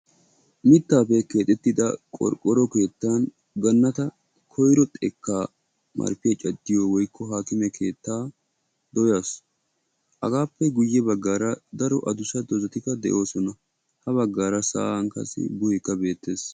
Miittape keexettida qorqoro keettan Ganatta koyro xeekka marppiya caddiyo woykko hakkime keetta de'ees. Hagappe guuye baggara daro adduussa dozatika deosona. Ha baggara sa'an buuheka betees.